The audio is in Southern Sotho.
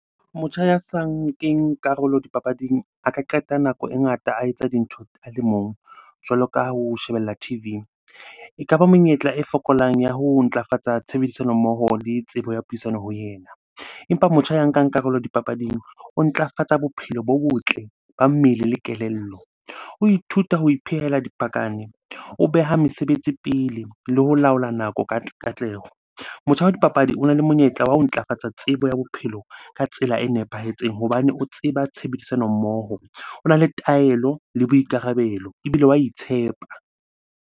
Motjha ya sa nkeng karolo dipapading a ka qeta nako e ngata a etsa dintho a le mong, jwalo ka ho shebella T_V. Ekaba monyetla e fokolang ya ho ntlafatsa tshebedisano mmoho le tsebo ya puisano ho yena. Empa motjha ya nkang karolo dipapading, o ntlafatsa bophelo bo botle ba mmele le kelello. O ithuta ho iphehela , o beha mesebetsi pele le ho laola nako ka katleho. Motjha wa dipapadi ona le monyetla wa ho ntlafatsa tsebo ya bophelo ka tsela e nepahetseng hobane o tseba tshebedisano mmoho, ona le taelo le boikarabelo, ebile wa itshepa.